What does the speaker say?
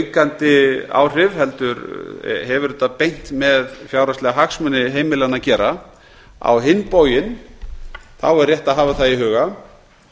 í þessu samkeppnisaukandi áhrif heldur hefur þetta beint með fjárhagslega hagsmuni heimilanna að gera á hinn bóginn er rétt að hafa í huga